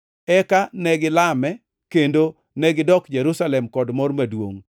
Eka negilame kendo negidok Jerusalem kod mor maduongʼ.